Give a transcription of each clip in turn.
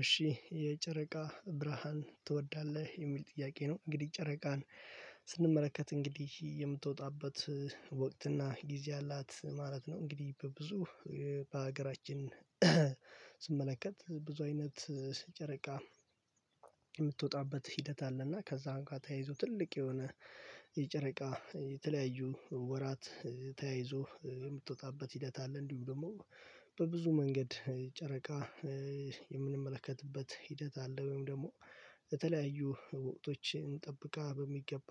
እሺ የጨረቃ ብርሃን ትወዳለህ የሚል ጥያቄ ነው? እንግዲህ ጨረቃን እንግዲህ የምትወጣበት ወቅት እና ጊዜ አላት ማለት ነው። እንግዲህ በብዙ በሀገራችን ስመለከት ብዙ አይነት ጨረቃ የምትወጣበት ሂደት አለና ከዛም ጋር ተያይዞ ትልቅ የሆነ የጨረቃ የተለያዩ ወራት ተያይዞ የምትወጣበት ሂደት አለ። እንዲሁም ደግሞ በብዙ መንገድ ጨረቃ የምንመለከትበት ሂደት አለ ወይም ደግሞ የተለያዩ ወቅቶችን ጠብቃ በሚገባ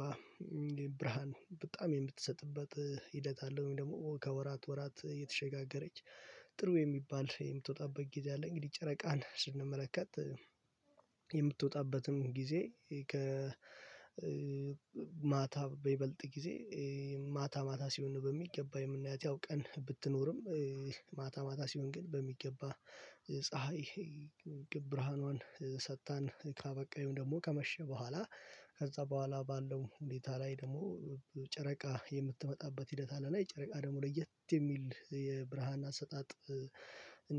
ብርሃን በጣም የምትሰጥበት ሂደት አለው። ወይም ደግሞ ከወራት ወራት እየተሸጋገረች ጥሩ የሚባል የምትወጣበት ጊዜ አለ። እንግዲህ ጨረቃን ስንመለከት የምትወጣበትም ጊዜ ከ ማታ በይበልጥ ጊዜ ማታ ማታ ሲሆን በሚገባ የምናያት ያው ቀን ብትኖርም ማታ ማታ ሲሆን ግን በሚገባ ፀሀይ ብርሃኗን ሰጥታን ካበቃ ወይም ደግሞ ከመሸ በኋላ ከዛ በኋላ ባለው ቦታ ላይ ደግሞ ጨረቃ የምትመጣበት ሂደት አለና የጨረቃ ደግሞ ለየት የሚል የብርሃን አሰጣጥ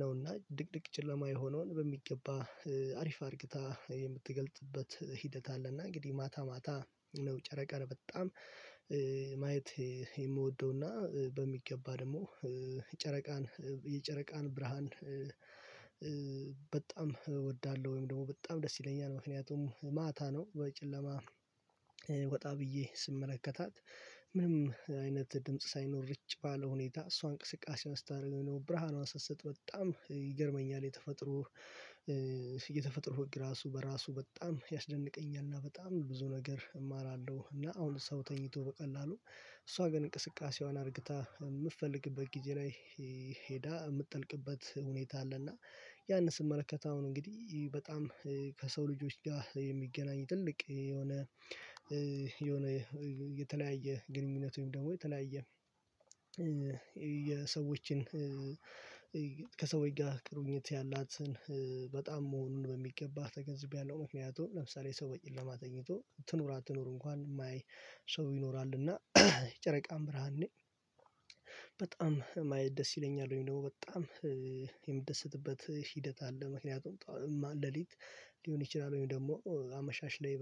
ነውና ድቅድቅ ጭለማ የሆነውን በሚገባ አሪፍ አድርግታ የምትገልጥበት ሂደት አለ። እና እንግዲህ ማታ ማታ ነው ጨረቃን በጣም ማየት የምወደው እና በሚገባ ደግሞ ጨረቃን የጨረቃን ብርሃን በጣም እወዳለሁ። ወይም ደግሞ በጣም ደስ ይለኛል ምክንያቱም ማታ ነው በጨለማ ወጣ ብዬ ስመለከታት ምንም አይነት ድምጽ ሳይኖር ርጭ ባለ ሁኔታ እሷ እንቅስቃሴዋን ስታደርገው የነበረው ብርሃኗን ስትሰጥ በጣም ይገርመኛል። የተፈጥሮ የተፈጥሮ ህግ ራሱ በራሱ በጣም ያስደንቀኛል። እና በጣም ብዙ ነገር እማራለሁ እና አሁን ሰው ተኝቶ በቀላሉ እሷ ግን እንቅስቃሴዋን አርግታ የምትፈልግበት ጊዜ ላይ ሄዳ የምትጠልቅበት ሁኔታ አለና ያንን ስመለከት አሁን እንግዲህ በጣም ከሰው ልጆች ጋር የሚገናኝ ትልቅ የሆነ የሆነ የተለያየ ግንኙነት ወይም ደግሞ የተለያየ የሰዎችን ጋር ግንኙት ያላትን በጣም መሆኑን በሚገባ ተገንዝቤያለሁ። ምክንያቱም ለምሳሌ ሰው በጨለማ ተኝቶ ትኑር አትኑሩ እንኳን የማያይ ሰው ይኖራል እና ጨረቃም ብርሃን ነኝ በጣም ደስ ይለኛል ወይም ደግሞ በጣም የምደሰትበት ሂደት አለ። ምክንያቱም ሌሊት ሊሆን ይችላል ወይም ደግሞ አመሻሽ ላይ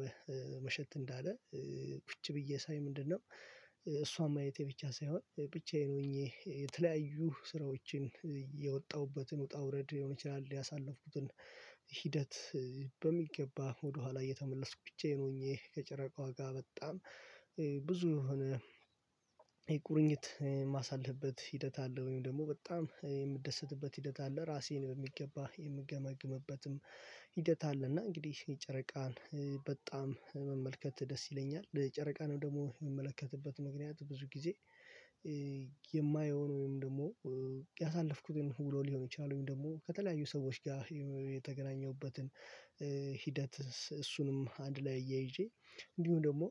መሸት እንዳለ ቁጭ ብዬ ሳይ ምንድነው? እሷን ማየይቴ ብቻ ሳይሆን ብቻዬን ሆኜ የተለያዩ ስራዎችን ውጣ ውረድ ሊሆን ይችላል ያሳለፍኩትን ሂደት በሚገባ ወደኋላ እየተመለስኩ ብቻዬን ሆኜ ከጨረቃዋ ጋር በጣም ብዙ የሆነ የቁርኝት የማሳልፍበት ሂደት አለ። ወይም ደግሞ በጣም የምደሰትበት ሂደት አለ ራሴን በሚገባ የምገመግምበትም ሂደት አለ እና እንግዲህ የጨረቃን በጣም መመልከት ደስ ይለኛል። የጨረቃንም ደግሞ የምመለከትበት ምክንያት ብዙ ጊዜ የማየውን ወይም ደግሞ ያሳለፍኩትን ውሎ ሊሆን ይችላል። ወይም ደግሞ ከተለያዩ ሰዎች ጋር የተገናኘሁበትን ሂደት እሱንም አንድ ላይ እያይዤ እንዲሁም ደግሞ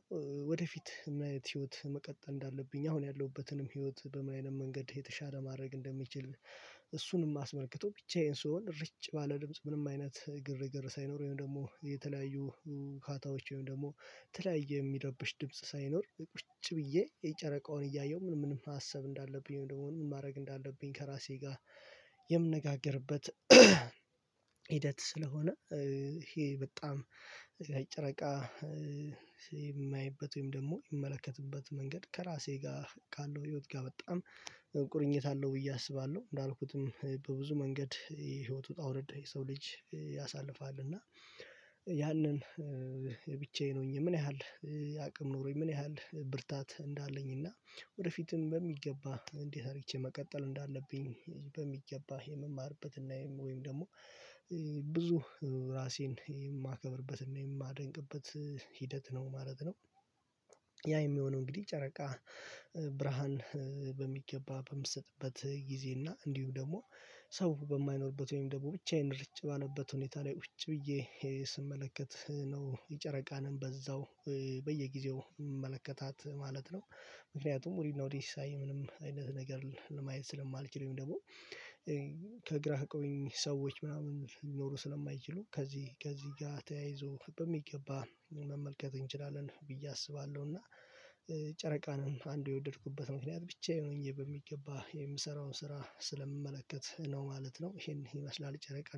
ወደፊት ምን አይነት ህይወት መቀጠል እንዳለብኝ አሁን ያለሁበትንም ህይወት በምን አይነት መንገድ የተሻለ ማድረግ እንደሚችል እሱንም አስመልክቶ ብቻዬን ስሆን ርጭ ባለ ድምጽ ምንም አይነት ግርግር ሳይኖር ወይም ደግሞ የተለያዩ ሁካታዎች ወይም ደግሞ የተለያየ የሚረብሽ ድምጽ ሳይኖር ቁጭ ብዬ የጨረቃውን እያየሁ ምን ምን ማሰብ እንዳለብኝ ወይም ደግሞ ምን ማድረግ እንዳለብኝ ከራሴ ጋር የምነጋገርበት ሂደት ስለሆነ ይሄ በጣም ጨረቃ የማይበት ወይም ደግሞ የምመለከትበት መንገድ ከራሴ ጋር ካለው ህይወት ጋር በጣም ቁርኝት አለው። ብዬ አስባለሁ እንዳልኩትም በብዙ መንገድ የህይወት ውጣ ውረድ የሰው ልጅ ያሳልፋል እና ያንን ብቻዬ ሁኜ ምን ያህል አቅም ኖሮኝ ምን ያህል ብርታት እንዳለኝ እና ወደፊትም በሚገባ እንዴት አድርግቼ መቀጠል እንዳለብኝ በሚገባ የምማርበትና ወይም ደግሞ ብዙ ራሴን የማከብርበትና የማደንቅበት ሂደት ነው። ማለት ነው ያ የሚሆነው እንግዲህ ጨረቃ ብርሃን በሚገባ በምትሰጥበት ጊዜና እንዲሁ ደግሞ ሰው በማይኖርበት ወይም ደግሞ ብቻዬን ርጭ ባለበት ሁኔታ ላይ ውጭ ብዬ ስመለከት ነው የጨረቃንም በዛው በየጊዜው የምመለከታት ማለት ነው። ምክንያቱም እኔ ወዴትም ሳይ ምንም አይነት ነገር ለማየት ስለማልችለው ደግሞ የሚያውቁኝ ሰዎች ምናምን ሊኖሮ ስለማይችሉ ከዚህ ከዚህ ጋር ተያይዞ በሚገባ መመልከት እንችላለን ብዬ አስባለሁና ጨረቃንም አንዱ የወደድኩበት ምክንያት ብቻዬን ሆኜ በሚገባ የምሰራውን ስራ ስለምመለከት ነው ማለት ነው። ይሄን ይመስላል ጨረቃ